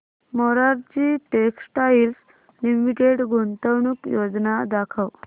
Morarji textiles limited गुंतवणूक योजना दाखव